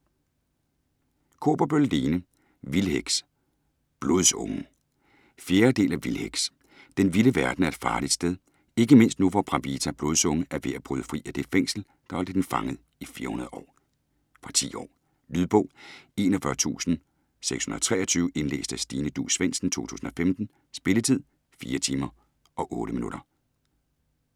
Kaaberbøl, Lene: Vildheks: Blodsungen 4. del af Vildheks. Den vilde verden er et farligt sted - ikke mindst nu hvor Bravita Blodsunge er ved at bryde fri af det fængsel, der har holdt hende fanget i 400 år. Fra 10 år. Lydbog 41623 Indlæst af Stine Duus Svendsen, 2015. Spilletid: 4 timer, 8 minutter.